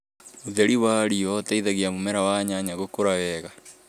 ũtheri wa riuwa ũteithagia mũmera wa nyanya gũkũra wega